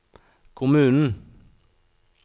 kommunen